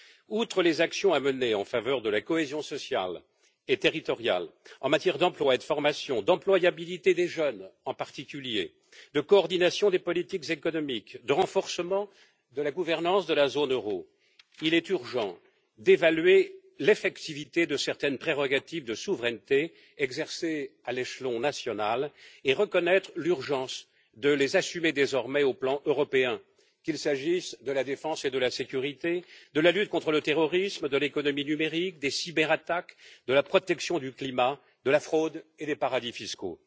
Outre les actions à mener en faveur de la cohésion sociale et territoriale, en matière d'emploi et de formation, d'employabilité des jeunes, en particulier, de coordination des politiques économiques, de renforcement de la gouvernance de la zone euro, il est urgent d'évaluer l'effectivité de certaines prérogatives de souveraineté exercées à l'échelon national et reconnaître l'urgence de les assumer désormais au plan européen, qu'il s'agisse de la défense et de la sécurité, de la lutte contre le terrorisme, de l'économie numérique, des cyberattaques, de la protection du climat, de la fraude et des paradis fiscaux.